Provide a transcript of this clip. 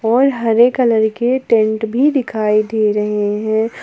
और हरे कलर के टैन्ट भी दिखाई दे रहे हैं।